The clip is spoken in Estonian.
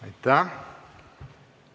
Aitäh!